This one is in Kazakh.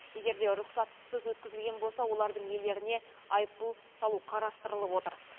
егер де рұқсатынсыз өткізілген болса олардың иелеріне айыппұл салу қарастырылып отыр